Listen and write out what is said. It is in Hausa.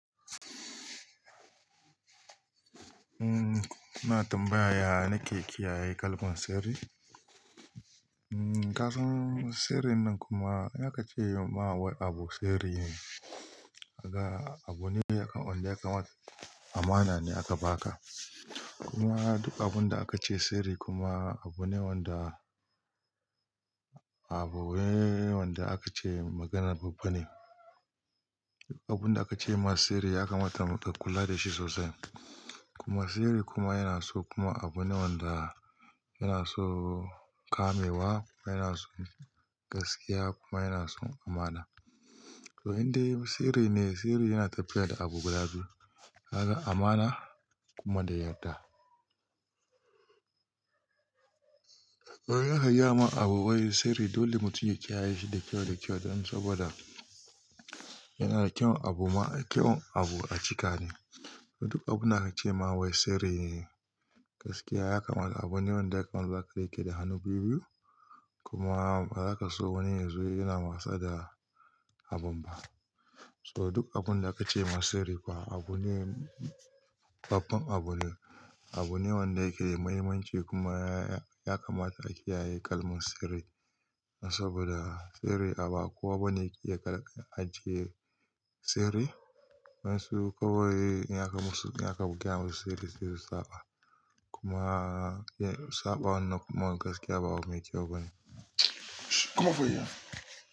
Umm, kuna tambaya nake kiyaye kalmar sirri. Umm kasan sirrin nan kuma in aka ce ma wai abu sirri ne, haka abu ne wanda yakan mana ne aka ba ka. Kuma duk abun da aka ce sirri kuma abu ne wanda abuuu wanda aka ce maganar babba ne. Duk abun da aka ce masa sirri ya kamata ka kula da shi sosai. Kuma sirri kuma yana so kuma abu ne wanda yana so kamewa, kuma yana so gaskiya kuma yana so amana. To indai sirri ne sirri yana tafiya da abubuwa biyu, haka amana kuma da yarda. To yana iya ma abu wai sirri dole mu ciya shi da kyau da kyau don saboda yana da kyau abu ma kyau abu a cika ne. To duk abun da aka ce ma wai sirri ne gaskiya ya kamata abu ne wanda yakan zaka rike da hannu biyu biyu kuma bazaka so wani ya zo yana masa da abun ba. So duk abun da aka ce masa sirri kuwa abu ne babban abu ne, abu ne wanda yake da muhimmanci kuma ya kamata a kiyaye kalmar sirri. Saboda sirri a ba kowa bane yake ajiye sirri. Wayansu kawai in aka musu in aka bugewa sirri sai su saba. Kuma saba wannan kuma gaskiya ba abu kyau bane. Kuma fa ya.